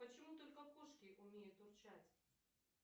почему только кошки умеют урчать